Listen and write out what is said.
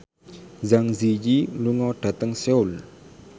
Zang Zi Yi lunga dhateng Seoul